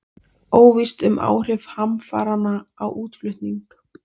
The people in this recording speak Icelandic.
Óvíst um áhrif hamfaranna á útflutning